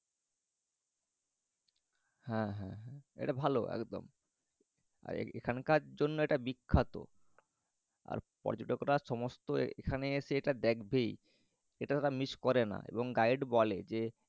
হ্যাঁ হ্যাঁ। এটা ভালো একদম। এখানকার জন্য এটা বিখ্যাত। আর পর্যটকরা সমস্ত এখানে এসে এটা দেখবেই। এটা এঁরা miss করেনা এবং guide বলে যে